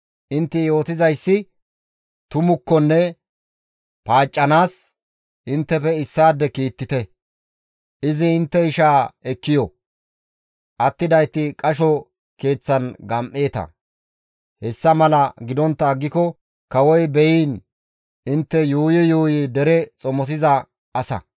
Intte yootizayssi tumukkonne paaccanaas, inttefe issaade kiittite; izi intte ishaa ekki yo; attidayti qasho keeththan gam7eeta. Hessa mala gidontta aggiko kawoy beyiin! intte yuuyi yuuyi dere xomosiza asa»